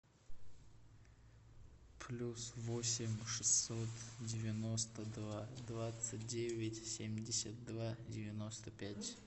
плюс восемь шестьсот девяносто два двадцать девять семьдесят два девяносто пять